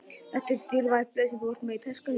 Þetta eru dýrmæt blöð sem þú ert með í töskunni.